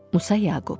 Musa Yaqub.